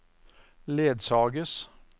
ledsages